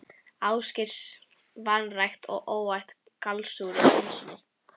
Ásgeirs, vanrækt og óæt í gallsúrri pylsunni.